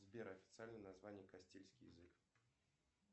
сбер официальное название кастильский язык